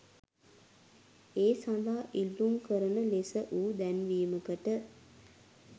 ඒ සඳහා ඉල්ලුම් කරන ලෙස වූ දැන්වීමකට